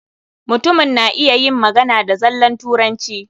Mutumin na iya yin magana da zallan Turanci.